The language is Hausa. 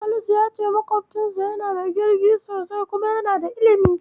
Salisu ya ce maƙwofcinsa yana da kirki sosai kuma yana da ilimi.